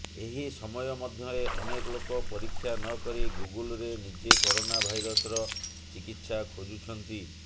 ଏହି ସମୟ ମଧ୍ୟରେ ଅନେକ ଲୋକ ପରୀକ୍ଷା ନକରି ଗୁଗୁଲରେ ନିଜେ କରୋନା ଭାଇରସର ଚିକିତ୍ସା ଖୋଜୁଛନ୍ତି